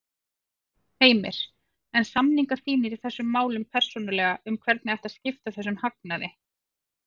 Heimir: En samningar þínir í þessum málum persónulega um hvernig ætti að skipta þessum hagnaði?